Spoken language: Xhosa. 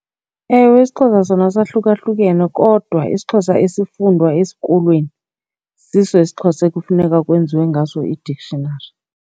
Ewe, isiXhosa sona sahlukahlukene kodwa isiXhosa esifundwa esikolweni siso esiXhosa ekufuneka kwenziwe ngaso i-dictionary.